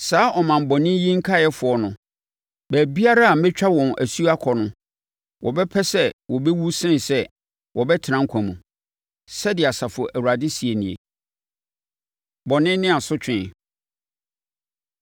Saa ɔman bɔne yi nkaeɛfoɔ no, baabiara a mɛtwa wɔn asuo akɔ no, wɔbɛpɛ sɛ wɔbɛwu sene sɛ wɔbɛtena nkwa mu, sɛdeɛ Asafo Awurade seɛ nie.’ Bɔne Ne Asotwe